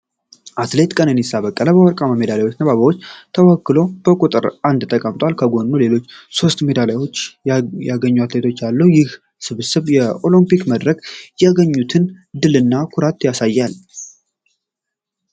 አትሌት ቀነኒሳ በቀለ በወርቅ ሜዳሊያና በአበባ ተወክሎ በቁጥር አንድ ተቀምጧል። ከጎኑ ሌሎች ሦስት ሜዳሊያ ያገኙ አትሌቶች አሉ። ይህ ስብስብ በኦሎምፒክ መድረክ ያገኙትን ድልና ኩራት ያሳያል።